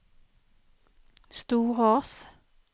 Storås